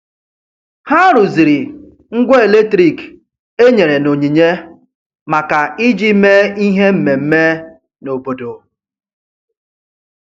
Ha rụziri ngwa eletrik e nyere n'onyinye maka iji mee ihe mmemme n' obodo.